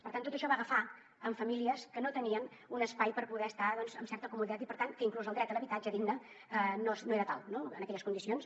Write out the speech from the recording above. per tant tot això va agafar en famílies que no tenien un espai per poder estar amb certa comoditat i per tant inclús el dret a l’habitatge digne no era tal en aquelles condicions